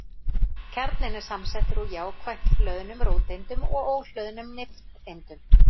Kjarninn er samsettur úr jákvætt hlöðnum róteindum og óhlöðnum nifteindum.